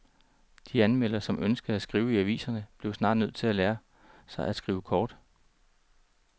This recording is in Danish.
De anmeldere, som ønskede at skrive i aviserne, blev snart nødt til at lære sig at skrive kort.